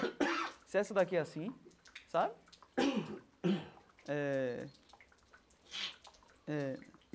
Se essa daqui é assim, sabe? Eh eh.